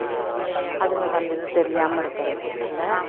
அதுகளுக்கு அந்த இது தெரியாம இருக்குறதுக்கு இல்ல